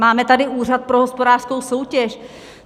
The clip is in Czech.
Máme tady Úřad pro hospodářskou soutěž!